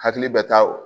Hakili bɛ ta o